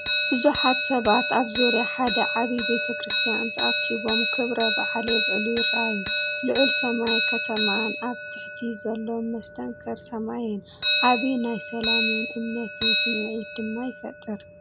ብዙሓት ሰባት ኣብ ዙርያ ሓደ ዓብይ ቤተ ቤተ ክርስትያን ተኣኪቦም ክብረ በዓል የብዕሉ ይረአዩ። ልዑል ሰማይ ከተማን ኣብ ታሕቲ ዘሎ መስተንክር ሰማይን ዓቢ ናይ ሰላምን እምነትን ስምዒት ድማ ይፈጥር።